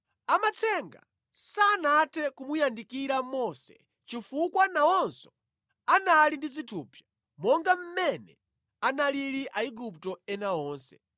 Amatsenga sanathe kumuyandikira Mose chifukwa nawonso anali ndi zithupsa monga mmene analili Aigupto ena onse.